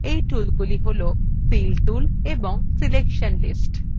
এই toolsগুলি toolsfill tool selection lists